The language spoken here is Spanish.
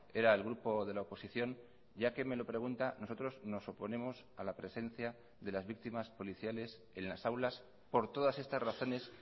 era el grupo de la oposición ya que me lo pregunta nosotros nos oponemos a la presencia de las víctimas policiales en las aulas por todas estas razones